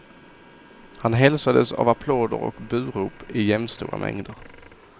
Han hälsades av applåder och burop i jämnstora mängder.